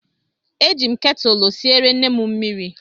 Eji m ketụlụ siere nne m mmiri